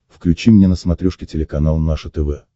включи мне на смотрешке телеканал наше тв